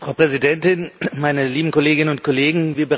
Frau Präsidentin, meine lieben Kolleginnen und Kollegen!